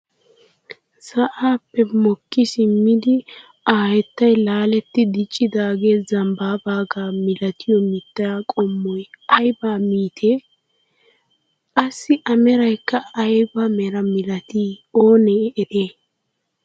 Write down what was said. Sa'aappe mokki simmidi a hayttay laaletti diccidaagee zambbaabagaa milatiyoo mittaa qommoy ayba mittee? qassi a meraykka ayba meraa milatii onee eriyay?